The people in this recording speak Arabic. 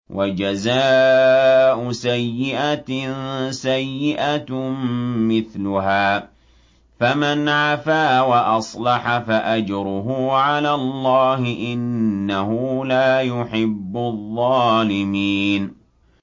وَجَزَاءُ سَيِّئَةٍ سَيِّئَةٌ مِّثْلُهَا ۖ فَمَنْ عَفَا وَأَصْلَحَ فَأَجْرُهُ عَلَى اللَّهِ ۚ إِنَّهُ لَا يُحِبُّ الظَّالِمِينَ